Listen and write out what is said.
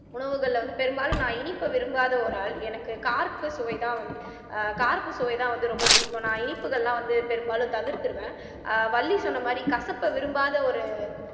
உணவுகள்ல வந்து பெரும்பாலும் நான் இனிப்பை விரும்பாத ஒரு ஆள் எனக்கு கார்ப்பு சுவைதான் வந்து ஆஹ் கார்ப்பு சுவைதான் வந்து ரொம்ப பிடிக்கும் நான் இனிப்புகள்லாம் வந்து பெரும்பாலும் தவிர்த்திருவேன் ஆஹ் வள்ளி சொன்ன மாதிரி கசப்பை விரும்பாத ஒரு